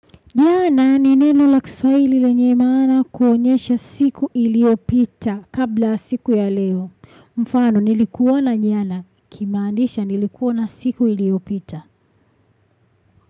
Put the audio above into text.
Jana ni neno la kiswaili lenye maana kuonyesha siku iliopita kabla siku ya leo. Mfano, nilikuona jana kumaanisha nilikuona siku iliyopita.